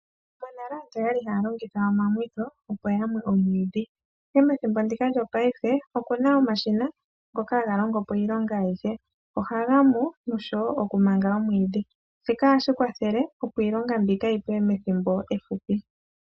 Monale aantu okwali haya longitha iimwitho opo yamwe omwiidhi ihe methimbo ndika lyopaife okuna omashina ngoka haga longo po iilonga ayihe, ohaga mu noshowo oku manga omwiidhi, shika ohashi kwathele opo iilonga mbika yipwe methimbo efupi.